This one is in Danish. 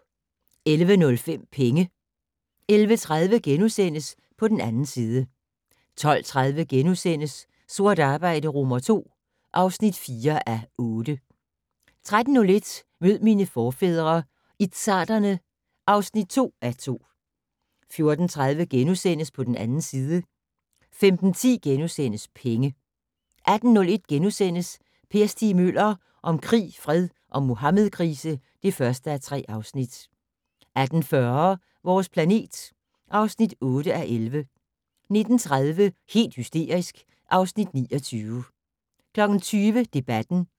11:05: Penge 11:30: På den 2. side * 12:30: Sort arbejde II (4:8)* 13:01: Mød mine forfædre - izzarderne (2:2) 14:30: På den 2. side * 15:10: Penge * 18:01: Per Stig Møller - om krig, fred og Muhammedkrise (1:3)* 18:40: Vores planet (8:11) 19:30: Helt hysterisk (Afs. 29) 20:00: Debatten